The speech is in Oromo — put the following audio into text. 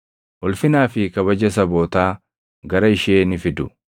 Ulfinaa fi kabaja sabootaa gara ishee ni fidu.